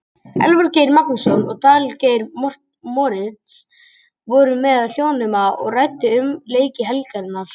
Elvar Geir Magnússon og Daníel Geir Moritz voru við hljóðnemana og ræddu um leiki helgarinnar.